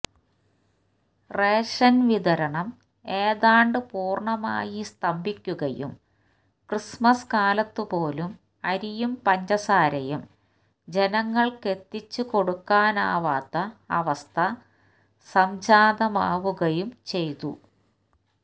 റേഷന്വിതരണം ഏതാണ്ടു പൂര്ണമായി സ്തംഭിക്കുകയും ക്രിസ്മസ് കാലത്തുപോലും അരിയും പഞ്ചസാരയും ജനങ്ങള്ക്കെത്തിച്ചു കൊടുക്കാനാവാത്ത അവസ്ഥ സംജാതമാവുകയും ചെയ്തു